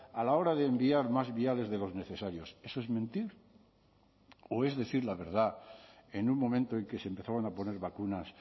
a la hora de enviar más viales de los necesarios eso es mentir o es decir la verdad en un momento en que se empezaron a poner vacunas